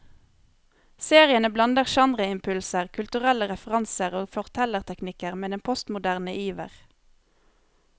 Seriene blander genreimpulser, kulturelle referanser og fortellerteknikker med en postmoderne iver.